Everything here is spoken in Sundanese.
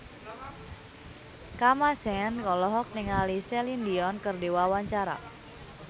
Kamasean olohok ningali Celine Dion keur diwawancara